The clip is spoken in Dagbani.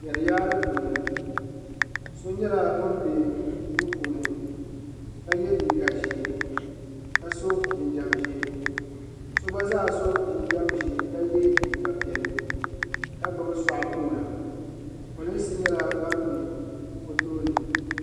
Jariyaari puuni so nyɛla ŋun be duu puuni ka ye liiga ʒee ka sɔ jinjam ʒee so gba zaa sɔ jinjam ʒee ka ye liiga piɛlli ka gbubi sɔɣu koona polinsi nyɛla ban be o tooni.